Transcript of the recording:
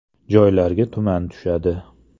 Joylarga tuman tushadi.